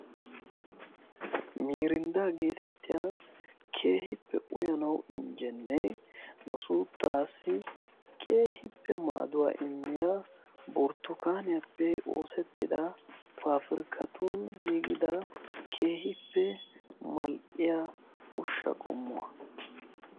mirindda geetettiya keehippe uyanaw injjennee nu suuttaassi keehippe maaduwaa immiya borttukaaniyaappe oosettida paafirkkatun giigida keehippe mal''iya ushsha qommuwaa